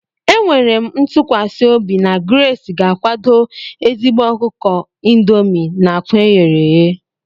Enwere m ntụkwasị obi na Grace ga-akwado ezigbo ọkụkọ indomie na akwa eghere eghe.